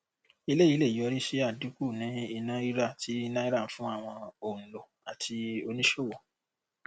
eléyìí lè yọrí sí àdínkù ní iná rírà ti náírà fún àwọn òǹlò àti oníṣòwò